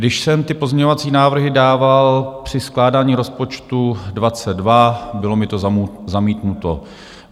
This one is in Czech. Když jsem ty pozměňovací návrhy dával při skládání rozpočtu 2022, bylo mi to zamítnuto.